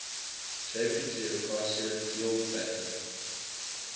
jpg acacia dealbata